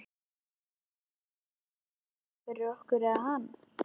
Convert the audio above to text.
Vorum við að láta rannsaka hana fyrir okkur- eða hana?